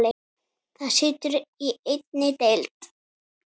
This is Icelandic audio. Það situr í einni deild.